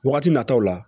Wagati nataw la